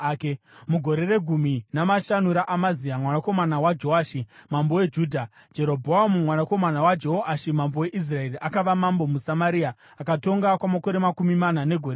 Mugore regumi namashanu raAmazia mwanakomana waJoashi mambo weJudha, Jerobhoamu mwanakomana waJehoashi mambo weIsraeri akava mambo muSamaria, akatonga kwamakore makumi mana negore rimwe.